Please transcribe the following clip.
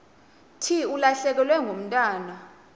thi ulahlekelwe ngumntwana